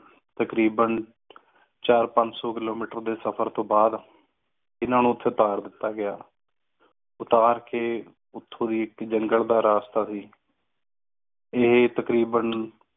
ਤਕਰੀਬਨ ਚਾਰ ਪੰਜ ਸੋ kilometer ਦਾ ਸਫਰ ਤੋਂ ਬਾਦ ਇਨ੍ਹਾਂ ਨੂੰ ਉਥੇ ਉਤਾਰ ਦਿੱਤਾ ਗਯਾ ਉਤਾਰ ਕ ਉਠੁ ਹੈ ਇਕ jungle ਦਾ ਰਸਤਾ ਸੀ ਅਹਿ ਤਕਰੀਬਨ